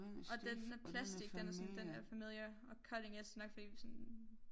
Og den den er plastic den er sådan den er familiar og cutting edge det nok fordi det sådan